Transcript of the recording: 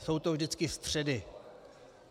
Jsou to vždycky středy.